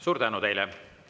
Suur tänu teile!